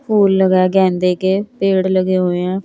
फूल लगा है गेंदे के पेड़ लगे हुए हैं।